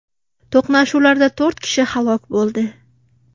To‘qnashuvlarda to‘rt kishi halok bo‘ldi .